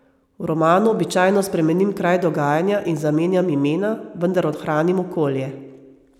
V romanu običajno spremenim kraj dogajanja in zamenjam imena, vendar ohranim okolje.